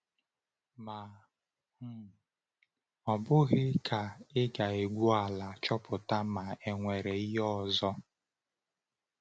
Ma ọ̀ um bụghị ka ị ga-egwu ala chọpụta ma e nwere ihe ọzọ?